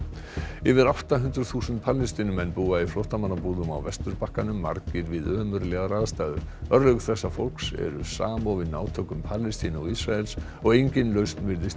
yfir átta hundruð þúsund Palestínumenn búa í flóttamannabúðum á Vesturbakkanum margir við ömurlegar aðstæður örlög þessa fólks eru samofin átökum Palestínu og Ísraels og engin lausn virðist í